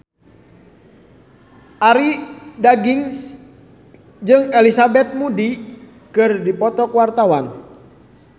Arie Daginks jeung Elizabeth Moody keur dipoto ku wartawan